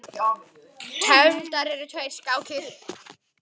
Tefldar eru tvær skákir.